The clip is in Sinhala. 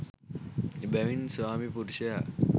එබැවින් ස්වාමි පුරුෂයා